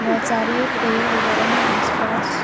बहुत सारे पेड़ वगैरह हैं आसपास --